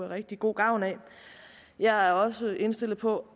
rigtig god gavn af jeg er også indstillet på